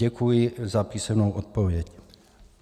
Děkuji za písemnou odpověď.